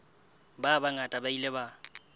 ba bangata ba ile ba